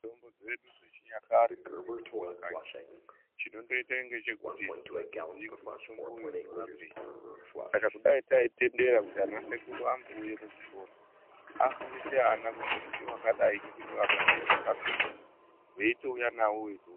Mutombo dzedu dzechinyakare dzirimwo mumakanyi chinondoita ngechekuti mutombo uyu unomborapei saka kudai taitendera kuti ana sekuru ambouye kuzvikora afundise ana kuti mbuti wakadai mupini wakadai unorapeyi veitouya nawo .